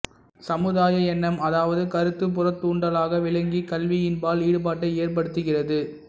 சமுதாய எண்ணம் அதாவது கருத்து புறத்தூண்டலாக விளங்கி கல்வியின்பால் ஈடுபாட்டை ஏற்படுத்துகிறது